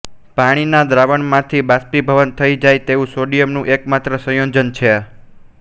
પાણીના દ્રાવણમાંથી બાષ્પીભવન થઈ જાય તેવું સોડિયમ નું એકમાત્ર સંયોજન છે